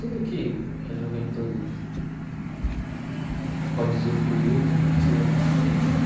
Tudo que a juventude pode usufruir, eu zu eu eu fiz.